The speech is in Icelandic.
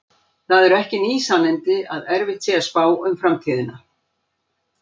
Það eru ekki ný sannindi að erfitt sé að spá um framtíðina.